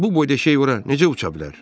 Bu boyda şey ora necə uça bilər?